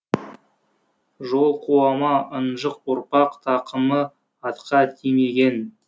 жол қуама ынжық ұрпақ тақымы атқа тимеген